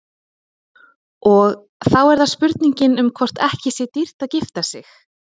Og þá er það spurningin um hvort ekki sé dýrt að gifta sig.